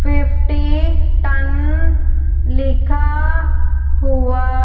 fifty ton लिखा हुआ--